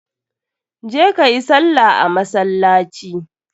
Je ka yi salla a masallaci.